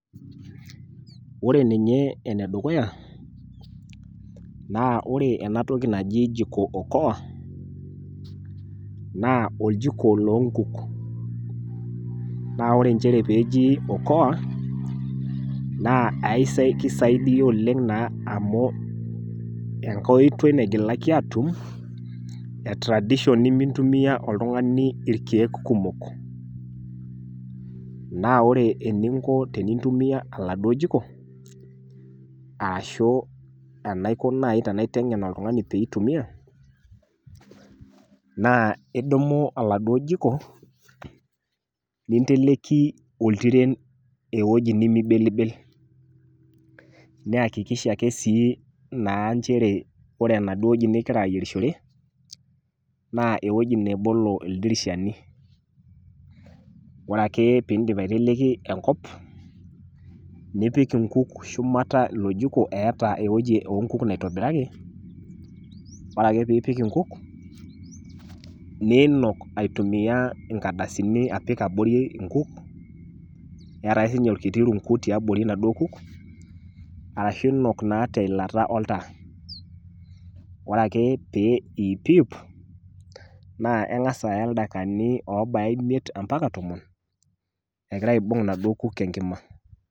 Ore ninye enedukuya, naa ore enatoki naji jiko-okoa naa oljiko loonkuk. Naa ore nchere peeji  okoa naa aisa keisaidia oleng' naa amu enkoitoi naigilaki aatum etradishon nemintumia oltung'ani ilkeek kumok. Naa ore eninko tinintumia aladuo jiko arashu enaiko naai tenaiteng'en oltung'ani peeitumia naa idumu oladuo jiko ninteleki oltiren ewueji nemeibelibel, neakikisha ake sii naa nchere ore naduo wueji nigira ayierishore naa ewueji nebolo ildirishani. Ore ake piindip aiteleki enkop nipik inkuk shumata ilo jiko eeta ewueji oonkuk naitobiraki, ore ake piipik inkuk niinok aitumia inkadasini apik abori inkuk, eatake siinye olkiti runku tiabori naduo kuk arashu inok naa teilata oltaa. Orea ake pee iipiip, naa eng'as aya ildaikani oobaya imiet ampaka tomon egira aibung' inaduo kuk enkima.